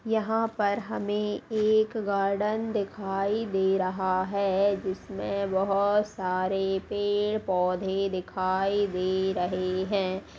यहाँ पर हमें एक गार्डन दिखाई दे रहा है जिसमें बहुत सारे पेड़-पौधे दिखाई दे रहे हैं।